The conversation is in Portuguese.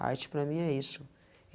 A arte para mim é isso. E